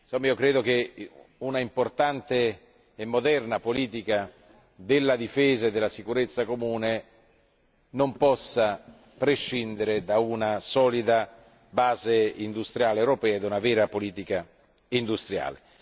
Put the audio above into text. Insomma, ritengo che un'importante e moderna politica di difesa e sicurezza comune non possa prescindere da una solida base industriale europea e da una vera politica industriale.